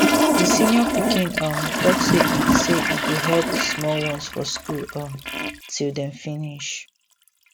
di senior pikin um talk say e say e go help the small ones for school um till dem finish